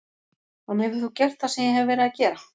En hefur þú gert það sem ég hef verið að gera?